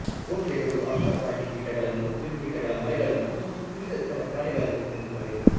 ಕೋಗಿಲೆಗಳು ಆಹಾರವಾಗಿ ಕೀಟಗಳನ್ನು ಕ್ರಿಮಿಕೀಟಗಳ ಮರಿಗಳನ್ನು ಮತ್ತು ವಿವಿಧ ಇತರ ಪ್ರಾಣಿಗಳನ್ನು ತಿನ್ನುತ್ತವೆ